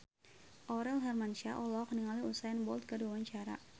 Aurel Hermansyah olohok ningali Usain Bolt keur diwawancara